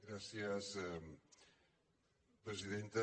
gràcies presidenta